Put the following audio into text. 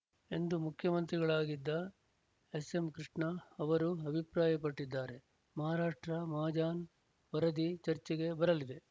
ಎಂದು ಮುಖ್ಯಮಂತ್ರಿಗಳಾಗಿದ್ದ ಎಸ್ಎಂಕೃಷ್ಣ ಅವರು ಅಭಿಪ್ರಾಯಪಟ್ಟಿದ್ದಾರೆ ಮಹಾರಾಷ್ಟ್ರ ಮಹಾಜಾನ್ ವರದಿ ಚರ್ಚೆಗೆ ಬರಲಿದೆ